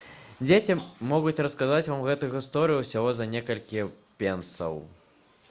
дзеці могуць расказаць вам гэту гісторыю ўсяго за некалькі пенсаў